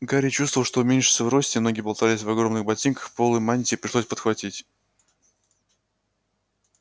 гарри чувствовал что уменьшился в росте ноги болтались в огромных ботинках полы мантии пришлось подхватить